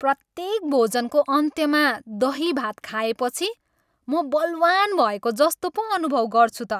प्रत्येक भोजनको अन्त्यमा दही भात खाएपछि म बलवान् भएको जस्तो पो अनुभव गर्छु त।